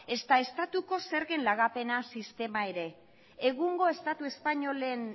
ezta estatuko zergen lagapenaz sistema ere egungo estatu espainolen